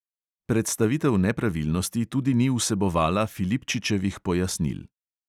Predstavitev nepravilnosti tudi ni vsebovala filipčičevih pojasnil.